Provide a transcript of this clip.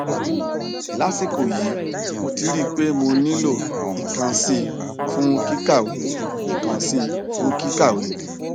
lásìkò yìí mo ti rí i pé mo nílò ìkànsí fún kíkàwé ìkànsí fún kíkàwé